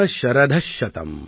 जीवेम शरदः शतम् |